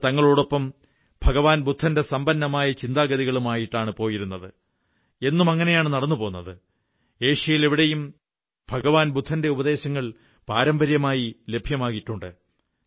അവർ തങ്ങളോടൊപ്പം ഭഗവാൻ ബുദ്ധന്റെ സമ്പന്നമായ ചിന്താഗതികളുമായിട്ടാണ് പോയിരുന്നത് എന്നും അങ്ങനെയാണു നടന്നുപോന്നത് ഏഷ്യയിലെവിടെയും ഭഗവാൻ ബുദ്ധന്റെ ഉപദേശങ്ങൾ പാരമ്പര്യമായി ലഭ്യമായിട്ടുണ്ട്